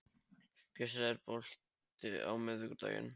Kristel, er bolti á miðvikudaginn?